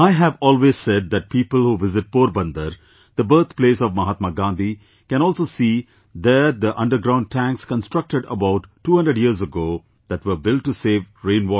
I have always said that people who visit Porbandar, the birthplace of Mahatma Gandhi, can also see there the underground tanks constructed about 200 years ago, that were built to save rain water